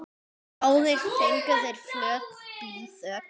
Báðir fengu þeir flöt blýþök.